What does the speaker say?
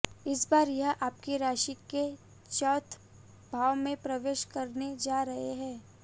इस बार यह आपकी राशि के चौथ भाव में प्रवेश करने जा रहे हैं